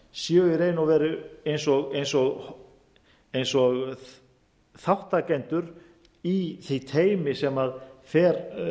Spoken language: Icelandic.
séu í raun og veru eins og þátttakendur í því teymi sem fer